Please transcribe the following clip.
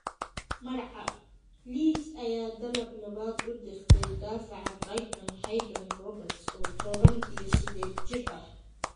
(Marca) Leeds ayaa dalab labaad u dirtay daafaca Brighton Haydon Roberts, oo tobaan iyo sided jir ah.